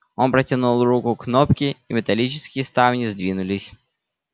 он протянул руку к кнопке и металлические ставни сдвинулись